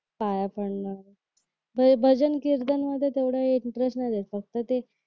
पाया पडण ते भजन कीर्तन मध्ये एवढा इंटरेस्ट नाही द्यायचा फक्त ते